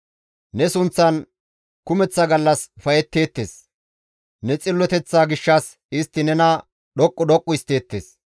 Ne sunththan kumeththa gallas ufayetteettes; ne xilloteththa gishshas istti nena dhoqqu dhoqqu histteettes.